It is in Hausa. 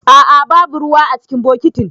A'a babu ruwa cikin bokitin.